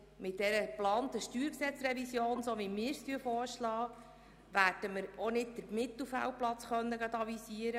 Mit der geplanten StG-Revision, so wie wir sie vorschlagen, werden wir auch keinen Platz im Mittelfeld anvisieren.